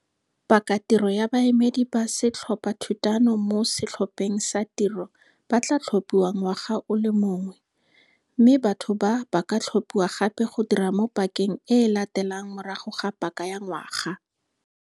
Pakatiro ya baemedi ba Setlhophathutano mo Setlhopheng sa Tiro ba tlaa tlhopihiwa ngwaga o le mongwe, mme batho ba ba ka tlhopiwa gape go dira mo pakeng e e latelang morago ga paka ya ngwaga.